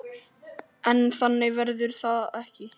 En þannig verður það ekki.